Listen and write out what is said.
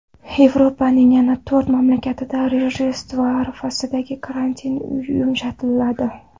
Yevropaning yana to‘rt mamlakatida Rojdestvo arafasida karantin yumshatiladi.